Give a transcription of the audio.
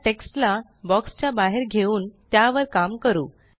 चला टेक्स्ट ला बॉक्स च्या बाहेर घेऊन त्यावर काम करू